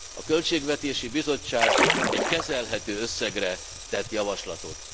A Költségvetési Bizottság egy kezelhető összegre tett javaslatot.